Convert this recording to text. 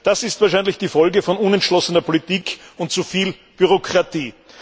Das ist wahrscheinlich die Folge von unentschlossener Politik und zuviel Bürokratie.